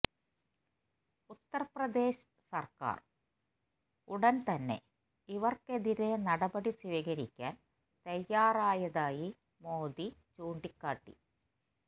ഉത്തര്പ്രദേശ് സര്ക്കാര് ഉടന്തന്നെ ഇവര്ക്കെതിരെ നടപടി സ്വീകരിക്കാന് തയ്യാറായതായി മോഡി ചൂണ്ടിക്കാട്ടി